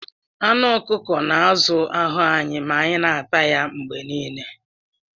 Anụ ọkụkọ na-azụ ahụ anyị ma anyị na-ata ya mgbe niile